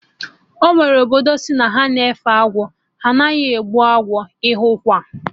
Enwere obodo asị na ha na-efe agwọ, ha anaghị egbu agwọ ụfọdụ, ịnụkwa!